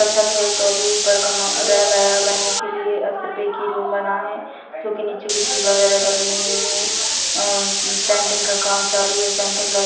अच्छा था ये तो अभी ऊपर का मकान रह गया बनने के लिए और सिर्फ एक ही रूम बना है क्योंकि नीचे गिट्टी वगैरा डली हुई है और इन सेन्टिग का काम चालू है सेन्टिग लगी हुई--